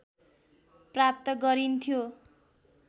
प्राप्त गरिन्थ्यो